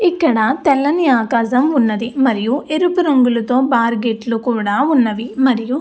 ఇక్కడ తెల్లని ఆకాశం ఉన్నది మరియు ఎరుపు రంగులో తో బార్ గేట్ కూడా ఉన్నవి. మరియు --